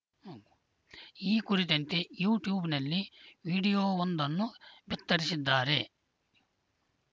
ಈ ಕುರಿತಂತೆ ಯುಟ್ಯೂಬ್‌ನಲ್ಲಿ ವಿಡಿಯೋವೊಂದನ್ನೂ ಬಿತ್ತರಿಸಿದ್ದಾರೆ